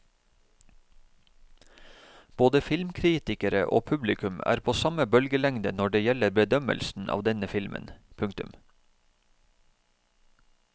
Både filmkritikere og publikum er på samme bølgelengde når det gjelder bedømmelsen av denne filmen. punktum